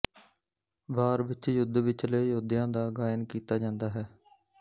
ਵਾਰ ਵਿੱਚ ਯੁੱਧ ਵਿਚਲੇ ਯੌਧਿਆਂ ਦਾ ਗਾਇਨ ਕੀਤਾ ਜਾਂਦਾ ਹੈ